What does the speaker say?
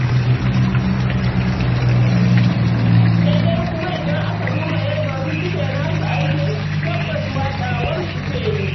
Sai dai kuma idan aka duba yadda wasu suke nasu aikin, tabbas watsawar suke yi.